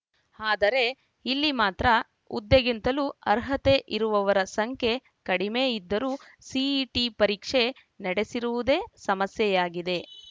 ಆದರೆ ಇಲ್ಲಿ ಮಾತ್ರ ಹುದ್ದೆಗಿಂತಲೂ ಅರ್ಹತೆ ಇರುವರ ಸಂಖ್ಯೆ ಕಡಿಮೆ ಇದ್ದರೂ ಸಿಇಟಿ ಪರೀಕ್ಷೆ ನಡೆಸಿರುವುದೇ ಸಮಸ್ಯೆಯಾಗಿದೆ